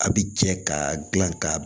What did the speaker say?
A bi jɛ ka gilan ka